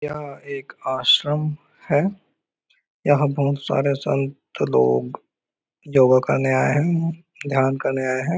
यहाँ एक आश्रम है। यहाँ बहुत सारे संत लोग योगा करने आये है ध्यान करने आये है।